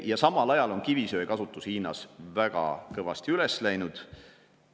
Ja samal ajal on kivisöe kasutus Hiinas väga kõvasti üles läinud.